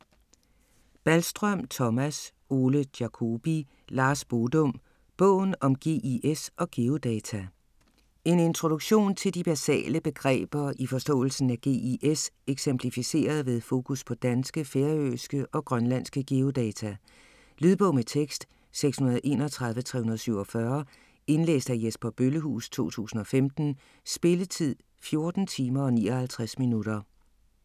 Balstrøm, Thomas, Ole Jacobi, Lars Bodum: Bogen om GIS og geodata En introduktion til de basale begreber i forståelsen af GIS eksemplificeret ved fokus på danske, færøske og grønlandske geodata. Lydbog med tekst 631347 Indlæst af Jesper Bøllehuus, 2015. Spilletid: 14 timer, 59 minutter.